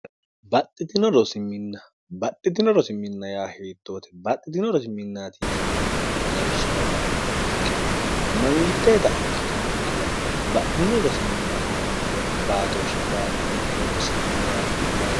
baxxiio inbaxxitino rosiminna yaa hiiittoote baxxitino rosi minnaati hinanniwi lawishaola'no mayikkeno mangitteeta ikkite nokkiwa badhino rosiminnaati hinanniwa baatooshshe baaxxine ronsanniwaati'yati